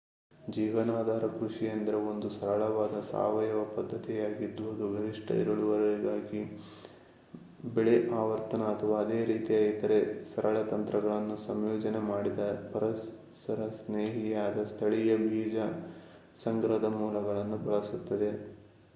ಜೀವನಾಧಾರ ಕೃಷಿ ಎಂದರೆ ಒಂದು ಸರಳವಾದ ಸಾವಯವ ಪದ್ದತಿಯಾಗಿದ್ದು ಅದು ಗರಿಷ್ಠ ಇಳುವರಿಗಾಗಿ ಬೆಳೆ ಆವರ್ತನ ಅಥವಾ ಅದೇ ರೀತಿಯ ಇತರೆ ಸರಳ ತಂತ್ರಗಳನ್ನು ಸಂಯೋಜನೆ ಮಾಡಿದ ಪರಿಸರಸ್ನೇಹಿಯಾದ ಸ್ಥಳೀಯ ಬೀಜ ಸಂಗ್ರಹದ ಮೂಲಗಳನ್ನು ಬಳಸುತ್ತದೆ